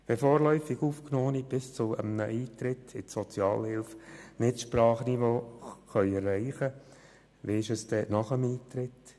Wenn vorläufig Aufgenommene das Sprachniveau nicht bis zu einem Eintritt in die Sozialhilfe erreichen können, wie ist es dann nach dem Eintritt?